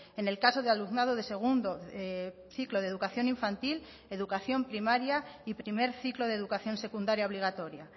en el caso de alumnado de segundo ciclo de educación infantil educación primaria y primer ciclo de educación secundaria obligatoria